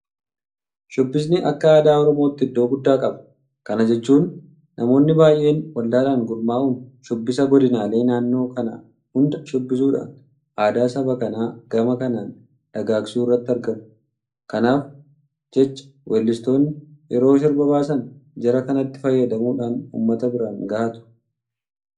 Shubbisni akka aadaa Oromootti iddoo guddaa qaba. Kana jechuun namoonni baay'een waldaadhaan gurmaa'uun shubbisa godinaalee naannoo kanaa hunda shubbisuudhaan aadaa saba kanaa gama kanaan dagaagsuu irratti argamu. Kanaaf jecha weellistoonni yeroo sirba baasan jara kanatti fayyadamuudhaan uummata biraan gahatu.